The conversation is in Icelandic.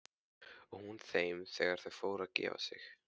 Og hún þeim þegar þau fóru að gefa sig.